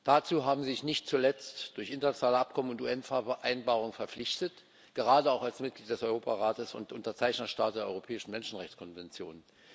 Dazu haben sie sich nicht zuletzt durch internationale Abkommen und UN Vereinbarungen verpflichtet, gerade auch als Mitglied des Europarates und Unterzeichnerstaat der Europäischen Menschenrechtskonvention.